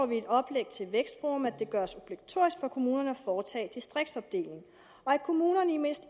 vi i et oplæg til vækstforum at det gøres obligatorisk for kommunerne at foretage distriktsopdeling og at kommunerne i mindst